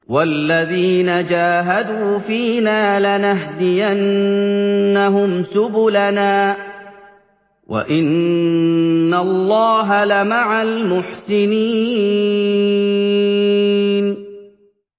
وَالَّذِينَ جَاهَدُوا فِينَا لَنَهْدِيَنَّهُمْ سُبُلَنَا ۚ وَإِنَّ اللَّهَ لَمَعَ الْمُحْسِنِينَ